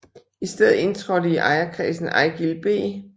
I stedet indtrådte i ejerkredsen Eigild B